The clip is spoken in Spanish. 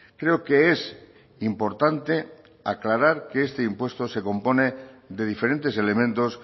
creo que es importante aclarar que este impuesto se compone de diferentes elementos